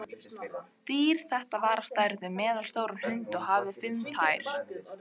Dýr þetta var á stærð við meðalstóran hund og hafði fimm tær.